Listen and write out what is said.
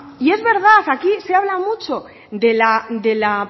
y es verdad aquí se habla mucho de la